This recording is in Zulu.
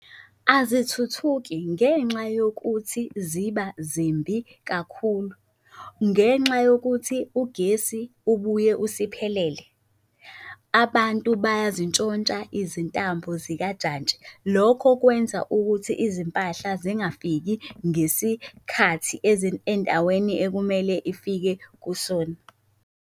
Azithuthuki ngenxa yokuthi ziba zimbi kakhulu. Ngenxa yokuthi ugesi ubuye usiphelele, abantu bayazintshontsha izintambo zikajantshi. Lokho kwenza ukuthi izimpahla zingafiki ngesikhathi endaweni ekumele ifike kusona.